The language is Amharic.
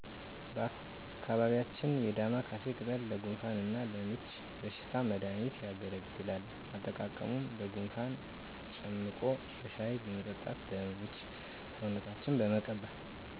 በአካባቢያችን የዳማካሲ ቅጠል ለጉንፋን እና ለምች በሽታ መድሃኒትነት ያገለግላል። አጠቃቀሙ ለጉንፋን ጨምቆ በሻሂ መጠጣት ለምች ሰውነትን መቀባት